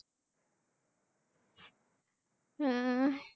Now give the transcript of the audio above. হম